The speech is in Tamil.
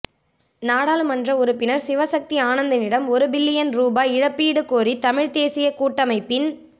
நாடாளுமன்ற உறுப்பினர் சிவசக்தி ஆனந்தனிடம் ஒரு பில்லியன் ரூபா இழப்பீடு கோரி தமிழ்த் தேசியக் கூட்டமைப்பின்